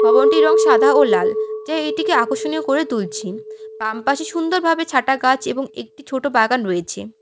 ভবনটির রং সাদা ও লাল যা এটিকে আকর্ষণীয় করে তুলছে বাম পাশে সুন্দরভাবে ছাটা গাছ এবং একটি ছোট বাগান রয়েছে।